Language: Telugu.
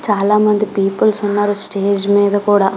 చాలామంది పీపుల్స్ ఉన్నారు స్టేజ్ మీద కూడా --